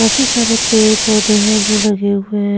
काफी सारे पेड़ पौधे हैं जो लगे हुए हैं।